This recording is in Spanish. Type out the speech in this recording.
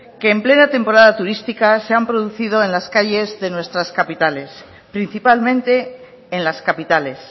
que en plena temporada turística se han producido en las calles de nuestras capitales principalmente en las capitales